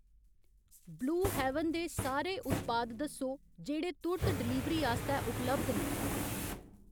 Blue Heaven दे सारे उत्पाद दस्सो जेह्ड़े तुर्त डलीवरी आस्तै उपलब्ध न।